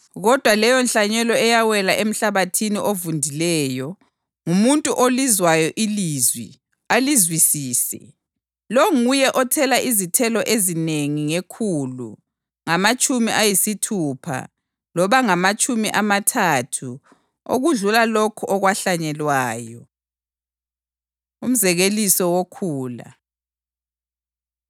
Kodwa leyonhlanyelo eyawela emhlabathini ovundileyo ngumuntu olizwayo ilizwi alizwisise. Lo nguye othela izithelo ezinengi ngekhulu, ngamatshumi ayisithupha loba ngamatshumi amathathu okudlula lokho okwahlanyelwayo.” Umzekeliso Wokhula